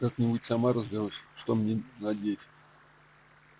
как-нибудь сама разберусь что мне надеть